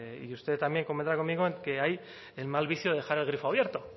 y usted también convendrá conmigo en que hay el mal vicio de dejar el grifo abierto